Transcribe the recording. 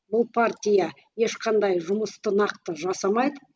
бұл партия ешқандай жұмысты нақты жасамайды